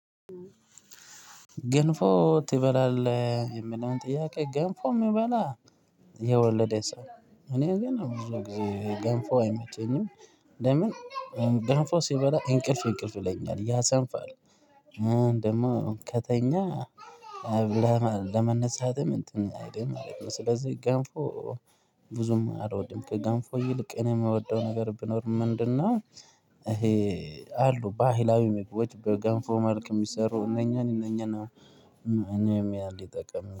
ገንፎ ትበላለህ? የምለውን ጥያቄ ገንፎ የምበላ የወለደ ሰው እኔ ግን ገንፎ አይመጣኝም ለምን ገንፎ ሲበላ እንቅልፍ እንቅልፍ ይለኛል ያ ሰንፋል ደግሞ ከተኛ ለመነሳትም እንትን አይደለም ማለት ነው ስለዚህ ጋንፎ ብዙም አልወድም ከጋንፎ ይልቅ እኔ የምወደው ነገር ብኖር ምንድነው ይሄ አሉ ባህላዊ ምግቦች በጋንፎ መልክ የሚሰሩ እነኚህን እነኚህን እኔም ያህል ይጠቅም